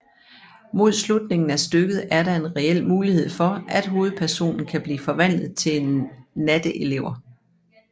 Mod slutningen af stykket er der en reel mulighed for at hovedpersonen kan blive forvandlet til en natteelver